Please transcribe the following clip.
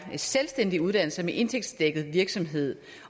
selvstændige uddannelser med indtægtsdækket virksomhed